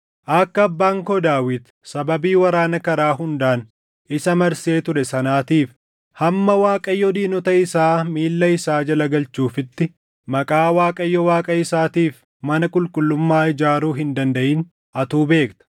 “Akka Abbaan koo Daawit sababii waraana karaa hundaan isa marsee ture sanaatiif hamma Waaqayyo diinota isaa miilla isaa jala galchuufitti Maqaa Waaqayyo Waaqa isaatiif mana qulqullummaa ijaaruu hin dandaʼin atuu beekta.